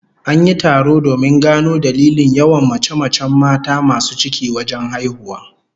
An yi taro domin gano dalilin yawan mace-macen mata masu ciki wajen haihuwa